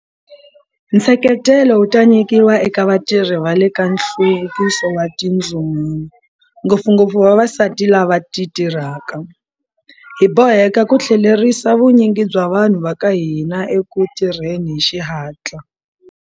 Nseketelo wu ta nyikiwa eka vatirhi va le ka Nhluvukiso wa Tindzumulo, ngopfungopfu vavasati lava va titirhaka. Hi boheka ku tlhelerisa vunyingi bya vanhu va ka hina eku tirheni hi xihatla.